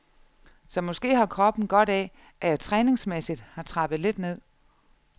Så måske har kroppen godt af, at jeg træningsmæssigt har trappet lidt ned.